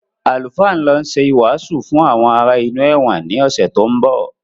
Àlùfáà ń lọ ṣe ìwàásù fún àwọn ará inú ẹ̀wọ̀n ni ọ̀sẹ̀ tó ń bọ̀